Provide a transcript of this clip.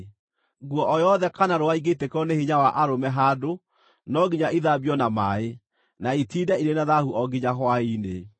Nguo o yothe kana rũũa ingĩitĩkĩrwo nĩ hinya wa arũme handũ, no nginya ithambio na maaĩ, na itiinde irĩ na thaahu o nginya hwaĩ-inĩ.